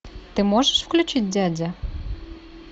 ты можешь включить дядя